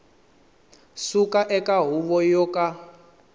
suka eka huvo yo ka